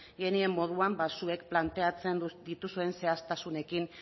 genien moduan zuek planteatzen dituzuen zehaztasunekin